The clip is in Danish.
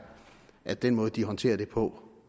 at den måde de håndterer det på